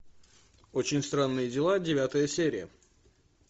очень странные дела девятая серия